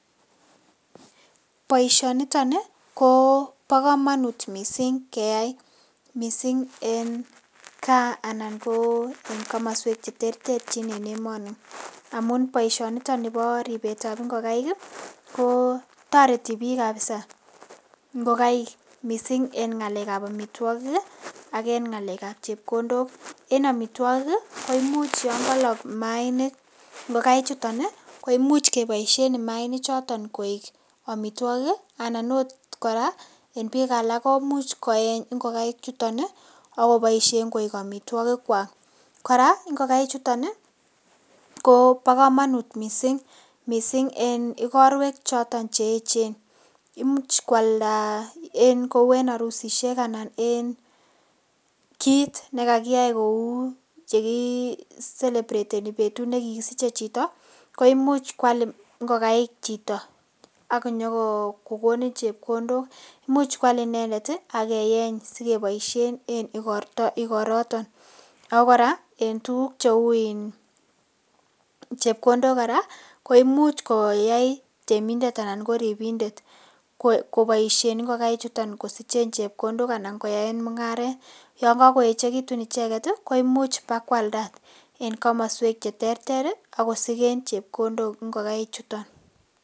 Boishoniton ko bo komonut missing keyai, missing en gaa anan ko en komoswek cheterterchin en emoni amun boishoniton nibo ribetab ingokaik kii ko toreti bik kabisa ingokaik missing en ngalek ab omitwokik kii ak en ngalekab chepkondok En omitwokik kii ko imuch yon kolok imainik ingokaik chuton nii ko imuch keboishen imainik choton koik omitwokik kii anan ot Koraa en bik alak komuch koyeny ingokaik chuton nii ak koboishen koik omitwokik kwak. Koraa ingokaik chuton nii ko bo komonut missing missing en igorwek choton che yeche imuch kwalda kou en orusishek anan ko en kit nekakiyai koi chekii celebrateni betut nekikisiche chito ko imuch kwal ingokaik chito ak nyokokonin chepkondok imuch kwal inendet tii ak keyeny sikeboishen en igorto igoroton. AK Koraa en tukuk cheu in chepkondok Koraa ko imuch koyai temindet ana ko ribindet ko koboishen ingokaik chuton kosichen chepkondok anan koyaen mungaret, yon kokoyechekitut icheket tii ko imuch bakwalda en komoswek cheterteri ak kosiken chepkondok ingokaik chuton.